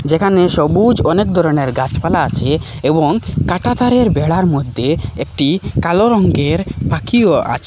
এখানে সবুজ অনেক ধরনের গাছপালা আছে এবং কাঁটাতারের বেড়ার মধ্যে একটি কালো রঙ্গের পাখিও আছে।